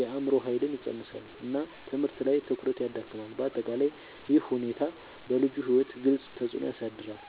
የአእምሮ ኃይልን ይቀንሳል እና ትምህርት ላይ ትኩረት ይዳክማል። በአጠቃላይ ይህ ሁኔታ በልጁ ሕይወት ግልጽ ተፅዕኖ ያሳድራል።